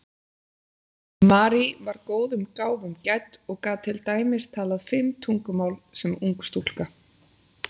Marie var góðum gáfum gædd og gat til dæmis talað fimm tungumál sem ung stúlka.